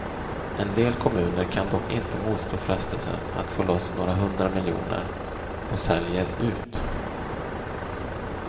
En del kommuner kan dock inte motstå frestelsen att få loss några hundra miljoner, och säljer ut.